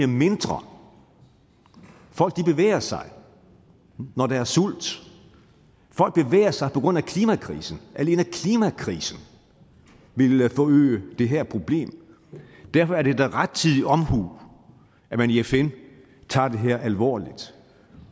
mindre folk bevæger sig når der er sult og sig på grund af klimakrisen alene klimakrisen vil forøge det her problem derfor er det da rettidig omhu at man i fn tager det her alvorligt